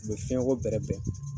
U bɛ fiɲɛ ko bɛrɛ bɛn.